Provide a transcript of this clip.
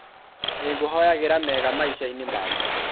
Nĩngũhoyagĩra mega maica-inĩ maku.